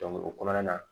o kɔnɔna na